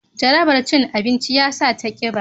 jarabar cin abinci ya sa ta kiba